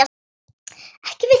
Ekki við þig.